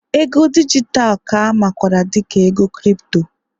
ego dijitalụ ka a makwaara dị ka ego Kripto